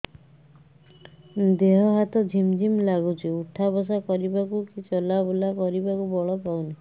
ଦେହେ ହାତ ଝିମ୍ ଝିମ୍ ଲାଗୁଚି ଉଠା ବସା କରିବାକୁ କି ଚଲା ବୁଲା କରିବାକୁ ବଳ ପାଉନି